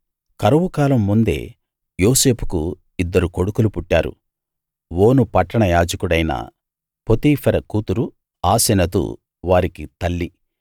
కరువు కాలం ముందే యోసేపుకు ఇద్దరు కొడుకులు పుట్టారు ఓను పట్టణ యాజకుడైన పోతీఫెర కూతురు ఆసెనతు వారికి తల్లి